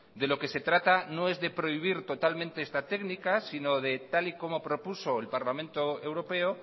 de lo que se trata no es de prohibir totalmente esta técnica sino de tal y como propuso el parlamento europeo